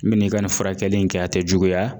N bi n'i ka nin furakɛli in kɛ a tɛ juguya